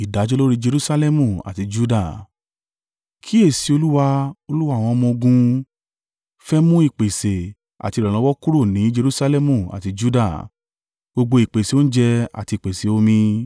Kíyèsi i, Olúwa, Olúwa àwọn ọmọ-ogun, fẹ́ mú ìpèsè àti ìrànlọ́wọ́ kúrò ní Jerusalẹmu àti Juda gbogbo ìpèsè oúnjẹ àti ìpèsè omi.